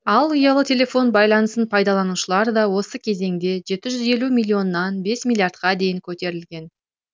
ал ұялы телефон байланысын пайдаланушылар да осы кезеңде жеті жүз елуден миллионнан бес миллиардқа дейін көтерілген